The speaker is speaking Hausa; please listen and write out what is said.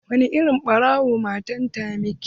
Wani irin ɓarna matan ta miki?